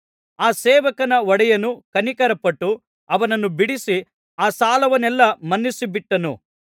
ಆ ಸೇವಕನ ಒಡೆಯನು ಕನಿಕರಪಟ್ಟು ಅವನನ್ನು ಬಿಡಿಸಿ ಆ ಸಾಲವನ್ನೆಲ್ಲಾ ಮನ್ನಿಸಿಬಿಟ್ಟನು